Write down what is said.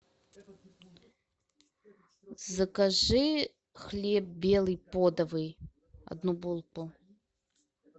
закажи хлеб белый подовый одну булку